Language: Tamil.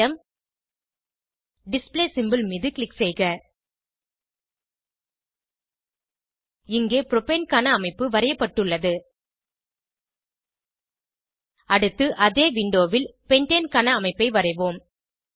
அட்டோம் டிஸ்ப்ளே சிம்போல் மீது க்ளிக் செய்க இங்கே புரோபேன் க்கான அமைப்பு வரையப்பட்டுள்ளது அடுத்து அதே விண்டோவில் பென்டேன் க்கான அமைப்பை வரைவோம்